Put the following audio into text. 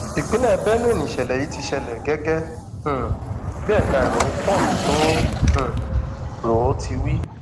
ìpínlẹ benue nìṣẹlẹ yìí ti ṣẹlẹ gẹgẹ um bí ẹka ìròyìn punch tó um rò ó ti wí